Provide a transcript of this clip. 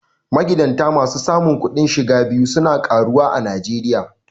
Magidanta masu samun kudin shiga biyu su na karuwa a Najeriya.